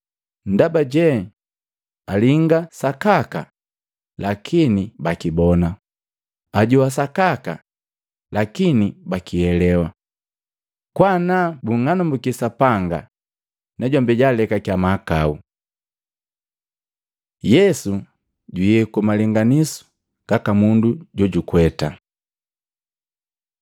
ndaba je, ‘Alinga sa sakaka, lakini bakibona ajoa sakaka, lakini bakielewa. Kwa naa bung'anumbuki Sapanga, najombi jaalekakya mahakau.’ ” Yesu juyeku malenganisu gaka mundu jojukweta Matei 13:18-23; Luka 8:11-15